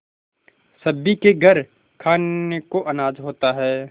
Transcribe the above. सभी के घर खाने को अनाज होता है